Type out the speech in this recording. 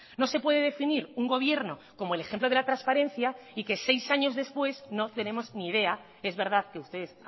no se puede definir un gobierno como el ejemplo de la transparencia y que seis años después no tenemos ni idea es verdad que ustedes